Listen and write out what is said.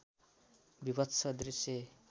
वीभत्स दृश्य